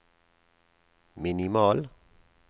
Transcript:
minimal